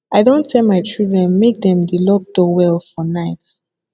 i don tell my children make dem dey lock door well for night